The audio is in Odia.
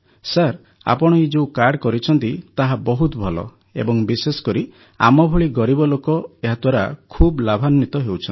ସାର୍ ଆପଣ ଏହି ଯୋଉ କାର୍ଡ଼ କରିଛନ୍ତି ତାହା ବହୁତ ଭଲ ଏବଂ ବିଶେଷକରି ଆମଭଳି ଗରିବ ଲୋକ ଏହାଦ୍ୱାରା ଖୁବ ଲାଭାନ୍ୱିତ ହେଉଛନ୍ତି